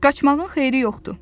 Qaçmağın xeyri yoxdur.